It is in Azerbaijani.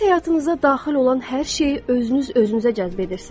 Siz həyatınıza daxil olan hər şeyi özünüz özünüzə cəzb edirsiz.